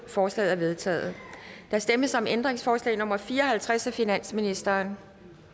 forslaget er vedtaget der stemmes om ændringsforslag nummer fire og halvtreds af finansministeren